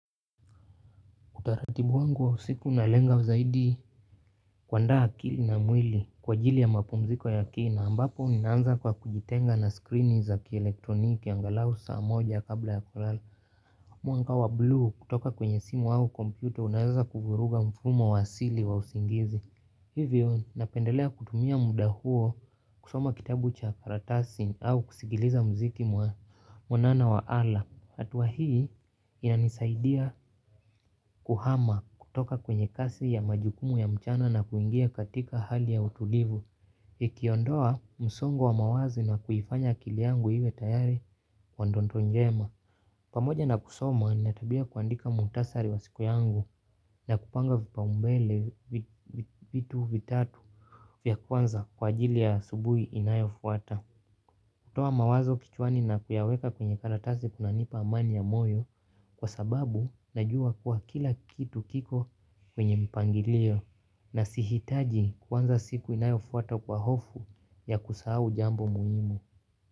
Utaratibu wangu wa usiku nalenga zaidi kuandaa akili na mwili kwa ajili ya mapumziko ya kina ambapo naanza kwa kujitenga na screeni za kielektroniki angalau saa moja kabla ya kulala. Mwanga wa blue kutoka kwenye simu au computer unaeza kuvuruga mfumo wa asili wa usingizi. Hivyo napendelea kutumia muda huo kusoma kitabu cha karatasi au kusikiliza muziki mwanana wa ala. Hatua hii inanisaidia kuhama kutoka kwenye kazi ya majukumu ya mchana na kuingia katika hali ya utulivu. Ikiondoa msongo wa mawazo na kuifanya akili yangu iwe tayari kwa ndoto njema. Pamoja na kusoma nina tabia ya kuandika muhtasari wa siku yangu na kupanga vipaumbele vitu vitatu vya kwanza kwa ajili ya asubuhi inayofuata. Kutoa mawazo kichwani na kuyaweka kwenye karatasi kunanipa amani ya moyo kwa sababu najua kuwa kila kitu kiko kwenye mpangilio na sihitaji kuanza siku inayofuata kwa hofu ya kusahau jambo muhimu.